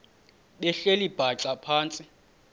behleli bhaxa phantsi